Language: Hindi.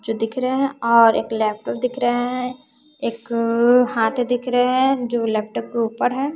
जो दिख रहे हैं और एक लैपटॉप दिख रहे हैं एक अ हाथ दिख रहे हैं जो लैपटॉप के ऊपर हैं।